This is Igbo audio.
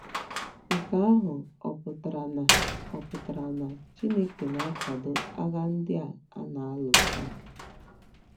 Nke ahụ ọ̀ pụtara na ọ̀ pụtara na Chineke na - akwado agha ndị a a na - alụ taa?